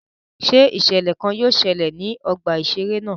Ṣé iṣẹlẹ kàn yóò ṣẹlẹ ní ọgbà iṣere náà?